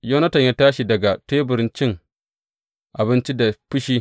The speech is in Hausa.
Yonatan ya tashi daga tebur cin abincin da fushi.